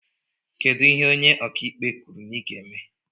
Kedụ ihe ónyé ọkà ikpe kwụrụ na i ga-eme?